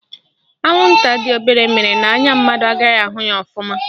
Anwụnta dị obere mere n'anya mmadụ agaghị ahụ ya ọfụma